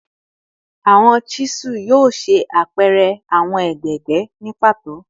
Awọn chisel yoo ṣe apẹrẹ awọn egbegbe ni pato